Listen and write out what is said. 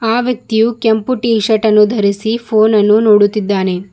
ಆ ವ್ಯಕ್ತಿಯು ಕೆಂಪು ಟಿ ಶರ್ಟ್ ಅನ್ನು ಧರಸಿ ಫೋನ್ ಅನ್ನು ನೋಡುತ್ತಿದ್ದಾನೆ.